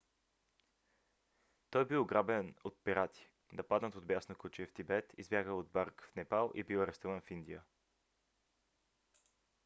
той е бил ограбен от пирати нападнат от бясно куче в тибет избягал от брак в непал и бил арестуван в индия